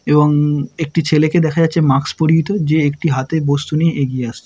এবং- একটি ছেলেকে দেখা যাচ্ছে মাস্ক পরিহিত যে একটি হাতে বস্তু নিয়ে এগিয়ে আসছে।